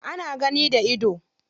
Ana gani da ido.